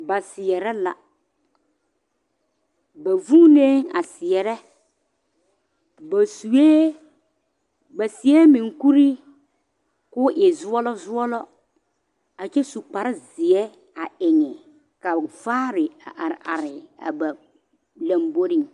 Ba seɛre la ba vunne a seɛre ba seɛ munkuri kɔ e zulɔ zulɔ a kyɛ su kpare zeɛ a eŋe ka vaare a are are ba lamboriŋ